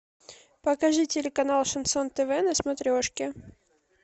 покажи телеканал шансон тв на смотрешке